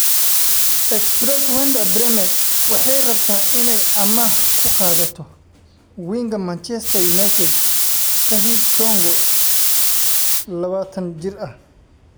(Express) Werder Bremen waxay rabtaa inay amaah ku qaadato winga Manchester United, Tahith Chong oo lawatan jir ah.